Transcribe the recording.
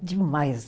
Demais.